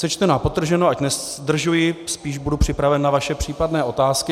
Sečteno a podtrženo, ať nezdržuji, spíš budu připraven na vaše případné otázky.